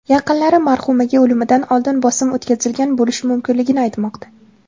Yaqinlari marhumaga o‘limidan oldin bosim o‘tkazilgan bo‘lishi mumkinligini aytmoqda.